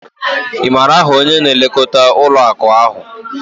Ị maara aha onye na-elekọta ụlọ akụ ha?